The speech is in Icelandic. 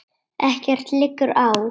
Ekkert liggur á.